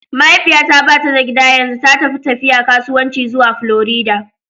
Mahaifiyata ba ta gida yanzu, ta tafi tafiya kasuwanci zuwa Florida.